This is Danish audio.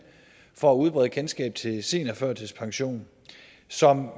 for at udbrede kendskabet til seniorførtidspension som